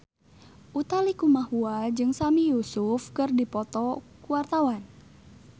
Utha Likumahua jeung Sami Yusuf keur dipoto ku wartawan